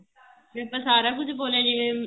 ਵੀ ਆਪਾਂ ਸਾਰਾ ਕੁੱਛ ਬੋਲਿਆਂ ਜਿਵੇਂ